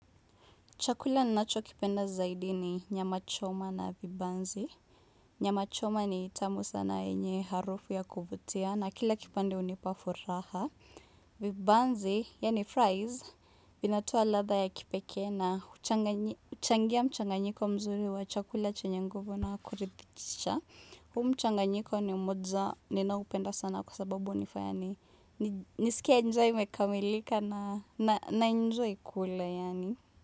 Chakula ninacho kipenda zaidi ni nyama choma na vibanzi. Nyama choma ni tamu sana yenye harufu ya kuvutia na kila kipande unipa furaha. Vibanzi, yaani fries, inatoa ladha ya kipekee na uchangia mchanganyiko mzuri wa chakula chenye nguvu na kuridhisha huu mchanganyiko ni mmoja ni naupenda sana kwa sababu hunifanya ni nisikie njaa imekamilika na enjoy kula.